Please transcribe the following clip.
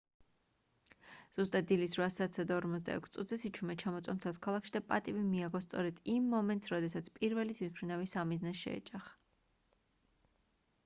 ზუსტად დილის 8:46-ზე სიჩუმე ჩამოწვა მთელს ქალაქში და პატივი მიაგო სწორედ იმ მომენტს როდესაც პირველი თვითმფრინავი სამიზნეს შეეჯახა